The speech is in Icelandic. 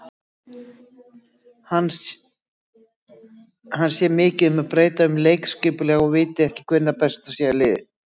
Hann sé mikið að breyta um leikskipulag og viti ekki hvert besta lið sitt sé.